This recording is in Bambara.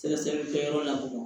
Sɛgɛsɛgɛli kɛyɔrɔ la